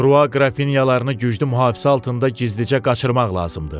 De Krua qrafinyalarını güclü mühafizə altında gizlicə qaçırmaq lazımdır.